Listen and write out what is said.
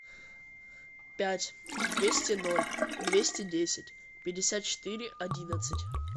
пять двести ноль двести десять пятьдесят четыре одиннадцать